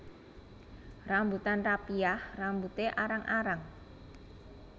Rambutan rapiah rambuté arang arang